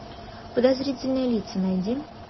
подозрительные лица найди